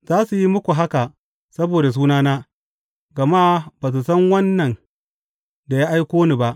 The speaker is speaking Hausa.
Za su yi muku haka saboda sunana, gama ba su san Wannan da ya aiko ni ba.